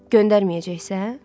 Göndərməyəcəksən?